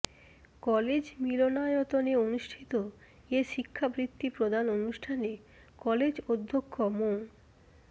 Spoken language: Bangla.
কলেজ মিলনায়তনে অনুষ্ঠিত এ শিক্ষা বৃত্তি প্রদান অনুষ্ঠানে কলেজ অধ্যক্ষ মো